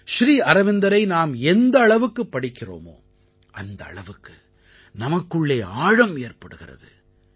ஸ்ரீ அரவிந்தரை நாம் எந்த அளவுக்குப் படிக்கிறோமோ அந்த அளவுக்கு நமக்குள்ளே ஆழம் ஏற்படுகிறது